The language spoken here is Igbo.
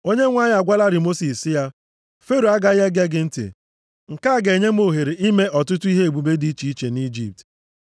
Onyenwe anyị agwalarị Mosis sị ya, “Fero agaghị ege gị ntị. Nke a ga-enye m ohere ime ọtụtụ ihe ebube dị iche iche nʼIjipt.”